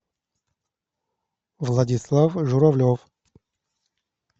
владислав журавлев